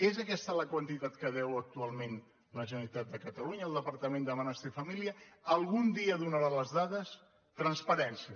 és aquesta la quantitat que deu actualment la generalitat de catalunya el depar·tament de benestar i família algun dia donarà les dades transparència